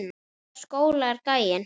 Í hvaða skóla er gæinn?